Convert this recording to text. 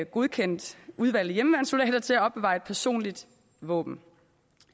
godkendt udvalgte hjemmeværnssoldater til at opbevare et personligt våben